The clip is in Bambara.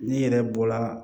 Ne yɛrɛ bɔla